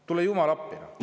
Tule jumal appi!